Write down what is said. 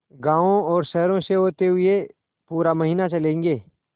गाँवों और शहरों से होते हुए पूरा महीना चलेंगे